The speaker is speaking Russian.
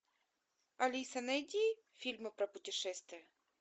алиса найди фильмы про путешествия